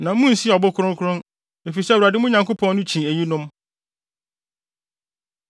na munnsi ɔbo kronkron, efisɛ Awurade, mo Nyankopɔn no, kyi eyinom.